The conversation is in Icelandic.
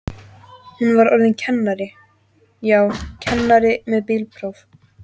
Hún var orðin kennari, já, kennari með bílpróf.